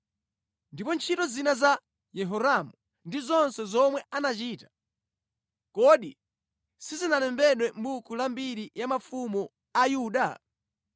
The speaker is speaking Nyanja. Ndipo ntchito zina za Yehoramu ndi zonse zomwe anachita, kodi sizinalembedwe mʼbuku la mbiri ya mafumu a Yuda?